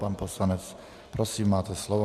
Pan poslanec, prosím, máte slovo.